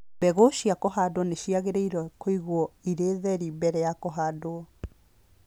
Mbegũ cia kũhanda nĩ ciagĩrĩirũo kũigwo irĩ theri mbere ya kũhandwo.